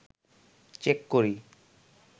check করি